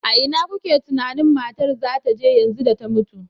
A ina kuke tunanin matar za ta je yanzu da ta mutu?